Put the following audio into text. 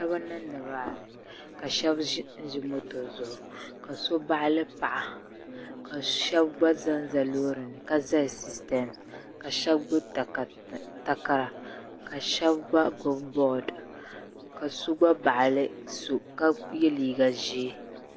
niraba n niŋdi raali ka shab ʒinʒi moto zuɣu ka shab baɣali paɣa ka shab gba ʒɛnʒɛ loori ni ka zali siistɛms ka shab gbubi takara ka shab gba gbubi bood ka so gba baɣali so ka yɛ liiga ʒiɛ